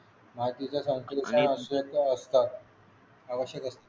माहितीचे संक्षिप्त अध्यक्ष असतात आवश्यक असतात